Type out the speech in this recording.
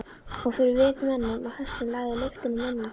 Og fyrir vit mönnum og hestum lagði lyktina af menningunni.